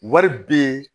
Wari be